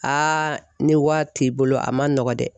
Aa ni wari t'i bolo a man nɔgɔn dɛ